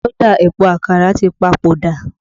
Dauda Epo Àkàrà tí pa ipò dà